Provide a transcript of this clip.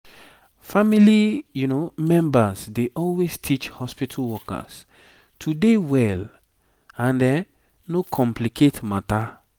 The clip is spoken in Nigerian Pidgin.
family members dey always teach hospitu workers to dey well and no complicate matter